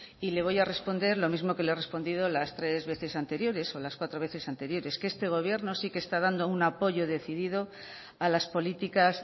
y le voy a responder lo mismo que le he respondido las tres veces anteriores o las cuatro veces anteriores que este gobierno sí que está dando un apoyo decidido a las políticas